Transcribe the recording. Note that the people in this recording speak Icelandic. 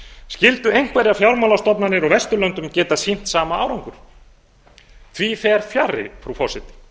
skyldu einhverjar fjármálastofnanir á vesturlöndum geta sýnt sama árangur því fer fjarri frú forseti